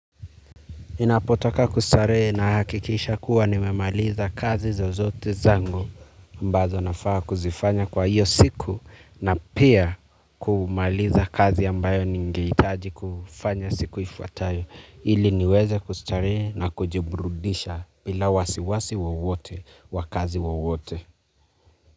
Ninapotaka kustarehe na hakikisha kuwa nimemaliza kazi zozote zangu ambazo nafaa kuzifanya kwa hiyo siku na pia kumaliza kazi ambayo ningehitaji kufanya siku ifuatayo ili niweze kustarehe na kujiburudisha bila wasiwasi wowote wa kazi wowote.